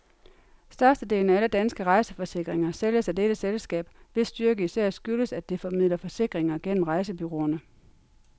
Størstedelen af alle danske rejseforsikringer sælges af dette selskab, hvis styrke især skyldes, at det formidler forsikringer gennem rejsebureauerne.